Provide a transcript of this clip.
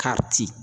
Ka ci